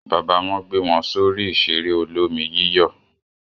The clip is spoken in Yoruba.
Bàbá wọn gbé wọn sórí ìṣeré olómi-yíyọ̀?